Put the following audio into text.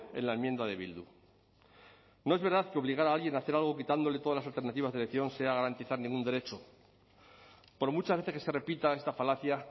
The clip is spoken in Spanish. en la enmienda de bildu no es verdad que obligar a alguien a hacer algo quitándole todas las alternativas de elección sea garantizar ningún derecho por muchas veces que se repita esta falacia